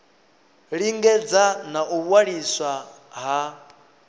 lingedza na u waliswa ha